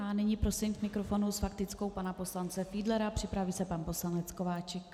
A nyní prosím k mikrofonu s faktickou pana poslance Fiedlera, připraví se pan poslanec Kováčik.